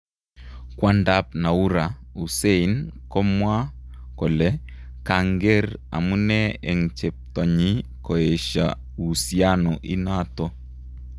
kwandap Noura, Hussein kokamwa kole kanger amune en cheptonyi koesha uhusiano inato